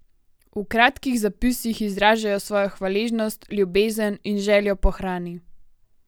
V kratkih zapisih izražajo svojo hvaležnost, ljubezen in željo po hrani.